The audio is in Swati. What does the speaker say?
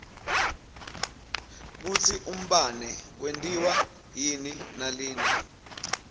kutsi umbane wentiwa yini nalina